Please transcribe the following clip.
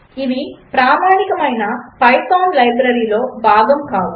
ఇవి ప్రామాణికమైన పైథాన్ లైబ్రరీలో భాగము కావు